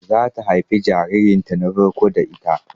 Zata haifi jaririn ta na farko da ita